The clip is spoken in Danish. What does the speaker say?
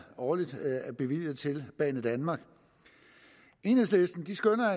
årligt er bevilget til banedanmark enhedslisten skønner